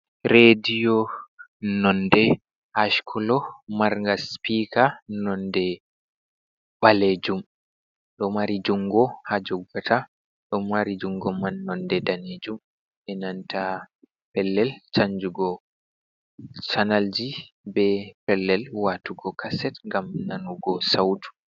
Rediyo nonde askolo mar nga sipika nonde ɓalejum. Ɗo mari jungo ha jogata. Ɗo mari jungo man nonde danejum be nanta pellel chanjugo chanalji. Be pellel watugo kaset gam nanugo sautu.